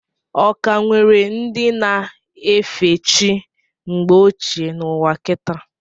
Ọ ka nwere ndị na efe chi mgbe ochie n' ụwa kita?